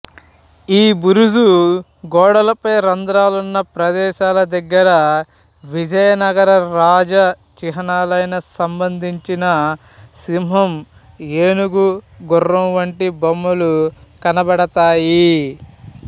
ఈ బురుజు గోడలపై రంధ్రాలున్న ప్రదేశాల దగ్గర విజయనగర రాజచిహ్నాలైన సంబంధించిన సింహం ఏనుగు గుర్రం వంటి బొమ్మలు కనబడతాయి